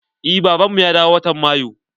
Eh baban mu ya dawo watan mayu.